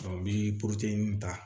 n bɛ ta